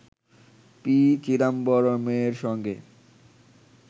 P চিদাম্বরমের সঙ্গে